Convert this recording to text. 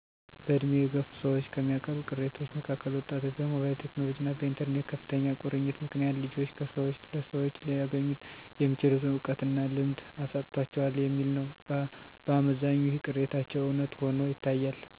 በድሜ የገፉ ሰዎች ከሚያቀርቡት ቅሬታዎች መካከል ወጣቶች በሞባይል ቴክኖሎጅና በኢተርኔት ከፍተኛ ቁርኝት ምክንያት ልጆች ከሰወች ለሰዎች ሊያገኙት የሚችሉትን እውቀትና ልምድ አሳጥቷቸዋል የሚል ነው። በአመዛኙ ይህ ቅሬታቸው እውነት ሆኖ ይታያል። ምክንያቱ ደግሞ ከስልክና ኢንተርኔት ጋር ባለ ቁርኝት የተግባቦትና የማዳመጥ ችግር በወጣቶች ላይ ይታያል።